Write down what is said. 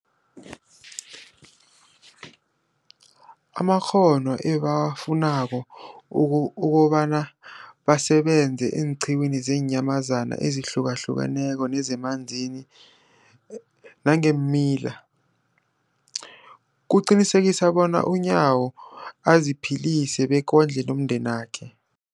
amakghono ebawafunako uko ukobana basebenze eenqiwini zeenyamazana ezihlukahlukeneko nezemanzini nangeemila, liqinisekisa bona uNyawo aziphilise bekondle nomndenakhe.